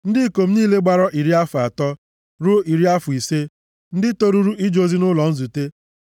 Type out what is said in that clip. Ndị ikom niile gbara iri afọ atọ ruo iri afọ ise ndị toruru ije ozi nʼụlọ nzute